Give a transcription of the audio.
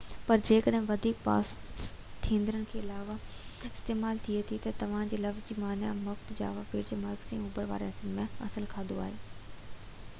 پر ، جيڪڏهن وڌيڪ پاس ٿيندڙن کان علاوه استعمال ٿئي ٿي، ته انهي لفظ جي معني مک جاوا ٻيٽ جي مرڪزي ۽ اوڀر واري حصن مان اصل کاڌو آهي